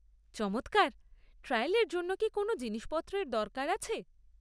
চমৎকার! ট্রায়ালের জন্য কি কোনও জিনিসের দরকার আছে?